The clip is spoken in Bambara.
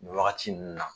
Nin wagati ninnu na